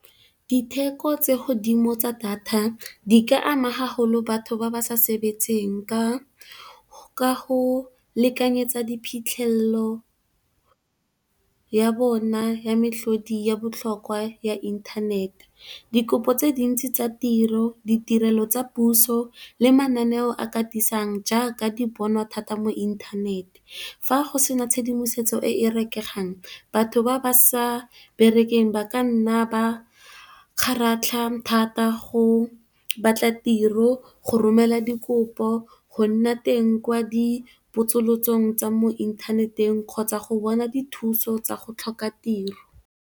Ditheko tse godimo tsa data di ka ama gagolo batho ba ba sa sebetseng ka go lekanyetsa phitlhelelo ya bona ya metlhodi ya botlhokwa ya inthanete, dikopo tse dintsi tsa tiro, ditirelo tsa puso le mananeo a katisiwang jaaka di bonwa thata mo inthanete. Fa go sena tshedimosetso e e rekegang, batho ba ba sa berekeng ba ka nna ba kgaratlha thata go batla tiro, go romela dikopo, go nna teng kwa dipotsolotsong tsa mo inthaneteng kgotsa go bona dithuso tsa go tlhoka tiro.